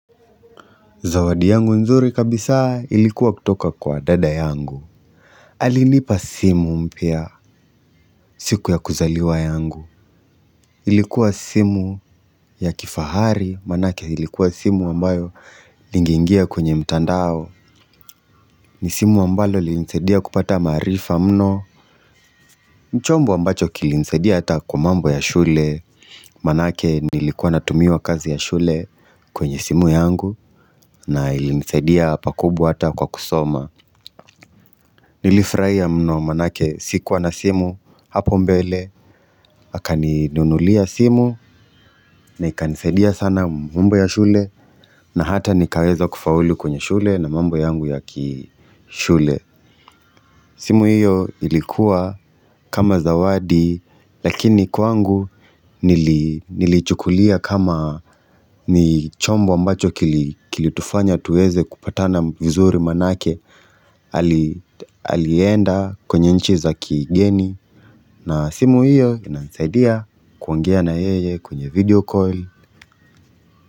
Zawadi yangu nzuri kabisa ilikuwa kutoka kwa dada yangu Alinipa simu mpya siku ya kuzaliwa yangu Ilikuwa simu ya kifahari Manake ilikuwa simu ambayo lingeingia kwenye mtandao ni simu ambalo lilinisaidia kupata maarifa mno Nichombo ambacho kilinisaidia ata kwa mambo ya shule Manake nilikuwa natumiwa kazi ya shule kwenye simu yangu na ilinisaidia pakubwa ata kwa kusoma Nilifurahia mno manake sikuwa na simu hapo mbele akaninunulia simu na ikanisaidia sana mambo ya shule na hata nikaweza kufaulu kwenye shule na mambo yangu ya kishule simu hiyo ilikuwa kama zawadi lakini kwangu nilichukulia kama ni chombo ambacho kilitufanya tuweze kupatana vizuri manake Alienda kwenye nchiza kigeni na simu hiyo inasaidia kuongea na yeye kwenye video call.